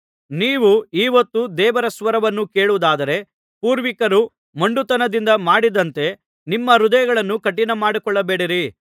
ನೀವು ಈ ಹೊತ್ತು ದೇವರ ಸ್ವರವನ್ನು ಕೇಳುವುದಾದರೆ ಪೂರ್ವಿಕರು ಮೊಂಡುತನದಿಂದ ಮಾಡಿದಂತೆ ನಿಮ್ಮ ಹೃದಯಗಳನ್ನು ಕಠಿಣಮಾಡಿಕೊಳ್ಳಬೇಡಿರಿ